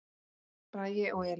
Bragi og Elín.